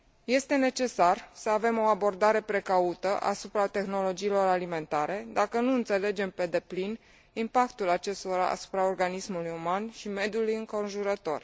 Este necesar să avem o abordare precaută asupra tehnologiilor alimentare, dacă nu înțelegem pe deplin impactul acestora asupra organismului uman și mediului înconjurător.